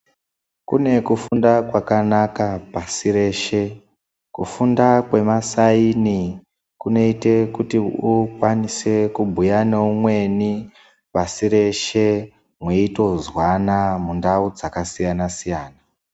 Kune kufunda kwakanaka pasi reshe. Kufunda kwemasaini, kunoite kuti kunoita kuti ukwanise kubhuya neumweni pasi reshe ,mweitozwana mundau dzakasiyana-siyana.